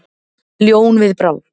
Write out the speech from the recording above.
Ljón við bráð.